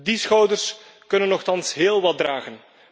Die schouders kunnen nochtans heel wat dragen.